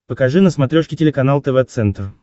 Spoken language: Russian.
покажи на смотрешке телеканал тв центр